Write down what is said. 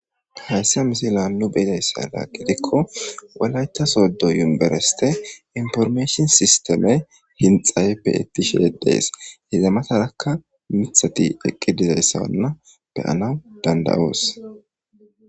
Heyssa misiliyan ne be7izayssa aybe gaba gikko wolaiththa sooddo univeresththee information systemee hintsay beeththishee de7ees; hega mathaarakka miththathi eqqidi ze7izayssanna be7anawu danddayoos.